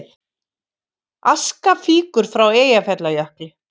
Aska fýkur frá Eyjafjallajökli